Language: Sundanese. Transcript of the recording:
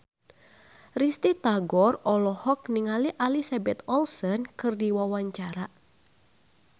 Risty Tagor olohok ningali Elizabeth Olsen keur diwawancara